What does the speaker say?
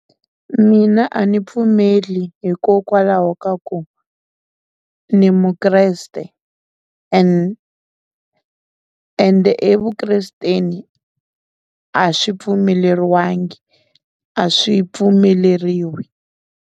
Mina a ni pfumeli hikokwalaho ka ku ni mukreste ende evukresteni a swi pfumeleriwangi a swi pfumeleriwi.